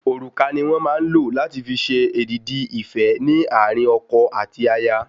Òrùka ni wón màa n lo lati fi ṣe èdìdì ife ni àárín ọkọ àti aya